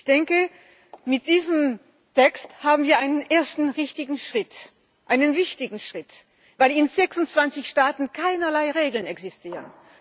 Ich denke, mit diesem Text haben wir einen ersten richtigen Schritt getan, einen wichtigen Schritt, weil in 26 Staaten keinerlei Regeln existieren.